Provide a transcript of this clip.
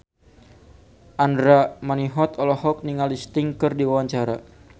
Andra Manihot olohok ningali Sting keur diwawancara